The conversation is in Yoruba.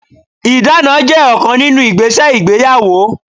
Ìdána jẹ́ ọ̀kan nínú igbese ìgbéyàwó.